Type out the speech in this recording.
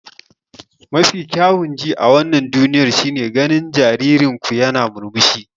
Mafi kyawun ji a wannan duniyar shine ganin jaririn ku yana murmushi.